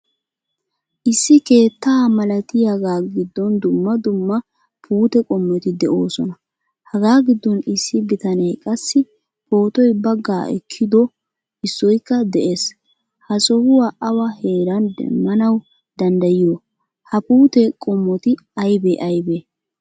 Issi keettaa malatiyaga giddon dumma dumma puute qommoti de'osona. Haga giddon issi bitane qassi pootoy bagga ekkido issoykka de'ees. Ha sohuwaa awa heeran demmanawu danddayiyo? Ha Puute qommoti aybe aybe?